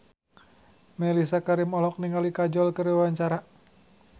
Mellisa Karim olohok ningali Kajol keur diwawancara